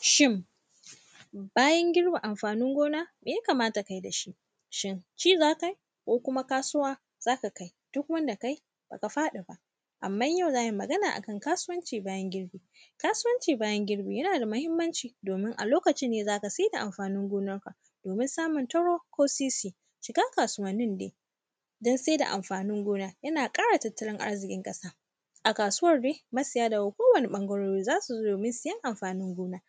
Shin, bayan girbe amfanin gona, me ya kamata kai da shi, shin ci za kai, ko kuma kasuwa za ka kai? Duk wanda kai, ba ka faɗi ba, amman yau za mui magana a kan kasuwanci bayan girbi. Kasuwanci bayan girbi, yana da mahimmanci, domin a lokacin ne za ka se da amfanin gonarka, domin samun taro ko sisi. Cikak kasuwannin de, yana ƙara tattalin arziƙin ƙasa, a kasuwar ne, masaya daga kowane ƃangarori, za su zo domin sayan amfanin gona.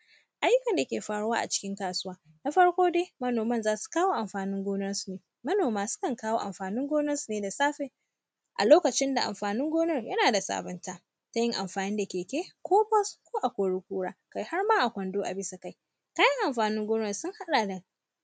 Ayyukan da ke faruwa a cikin kasuwa, na farko de, manoman za su kawo amfanin gonarsu. Manoma, sukan kawo amfanin gonarsu ne da safe, a lokacin da amfanin gonar yana da sabinta, ta yin amfani da keke ko bos ko a-kori-kura, kai har ma a kwando a bisa kai. Kayan amfanin gona sun haɗa da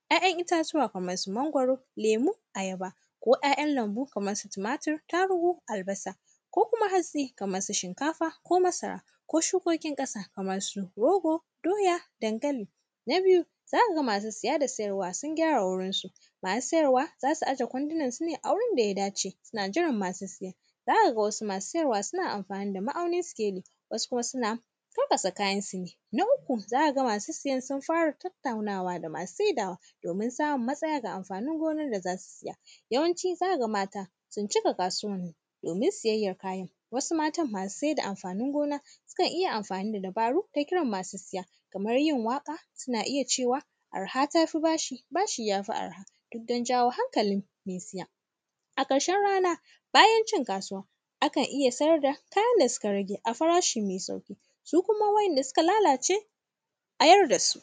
‘ya’yan itatuwa kamar su mangwaro, lemu, ayaba ko ‘ya’yan lambu kamr su tumatir, tarugu, albasa. Ko kuma, hatsi kamar su shinkafa ko masara ko shukokin ƙasa, kamar su rogo, doya, dankali. Na biyu, za ka ga masu siya da siyarwa sun gyara wurinsu. Masu sayarwa, za su aje kwandinansu ne a wurin da ya dace, suna jiran masu siya. Za ka ga wasu masu sayarwa suna amfani da ma’aunin sikeli, wasu kuma sina karkasa kayansu ne. Na uku, za ka ga masu siyan sun fara tattaunawa da masu saidawa, domin samun matsaya ga amfanin gonar da za su siya. Yawanci, za ka ga mata, sun cika kasuwanni, domin siyayyan kayan. Wasu matan masu se da amfanin gona, sikan iya amfani da dabaru, ta kiran masu siya, kamar yin waƙa, sina iya cewa, arha ta fi bashi, bashi ya fi arha, duk dan jawo hankalin me siya. A ƙarshen rana, bayan cin kasuwa, akan iya sayar da kayan da sika rage a farashi me sauƙi. Su kuma wa’ianda sika lalace, a yar da su.